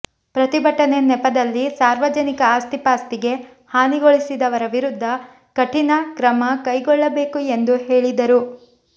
ಪ್ರತಿಭಟನೆ ನೆಪದಲ್ಲಿ ಸಾರ್ವಜನಿಕ ಆಸ್ತಿಪಾಸ್ತಿಗೆ ಹಾನಿಗೊಳಿಸಿದವರ ವಿರುದ್ಧ ಕಠಿನ ಕ್ರಮ ಕೈಗೊಳ್ಳಬೇಕು ಎಂದು ಹೇಳಿದರು